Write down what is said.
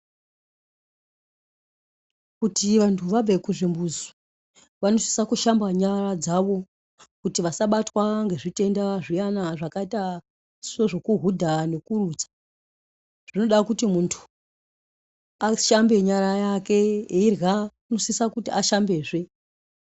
Kuti vantu vabve kuchimbuzi vanosise kushamba nyara dzawo kuti vasabatwa ngezvitenda zviyana zvakaita sezvokuhudha nekurutsa. Zvinoda kuti muntu ashambe nyara yake. Eirya unosisa kuti ashambezve.